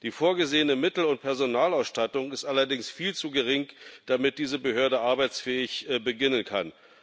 Die vorgesehene Mittel und Personalausstattung ist allerdings viel zu gering, damit diese Behörde arbeitsfähig beginnen kann.